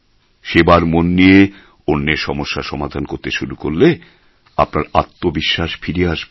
সেবার মন নিয়ে অন্যের সমস্যার সমাধান করতে শুরু করলে আপনার আত্মবিশ্বাস ফিরে আসবে